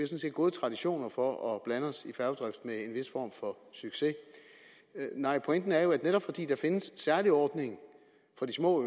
set gode traditioner for at blande os i færgedrift med en vis form for succes nej pointen er jo at netop fordi der findes en særlig ordning for de små